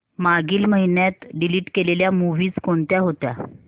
मागील महिन्यात डिलीट केलेल्या मूवीझ कोणत्या होत्या